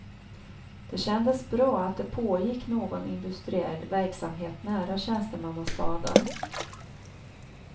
Det kändes bra att det pågick någon industriell verksamhet nära tjänstemannastaden.